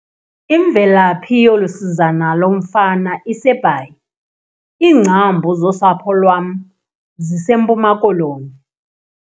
Imvelaphi yolu sizana lomfana iseBhayi. iingcambu zosapho lwam ziseMpuma Koloni